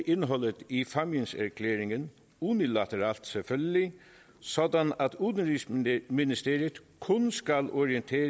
indholdet i fámjinserklæringen unilateralt selvfølgelig sådan at udenrigsministeriet kun skal orientere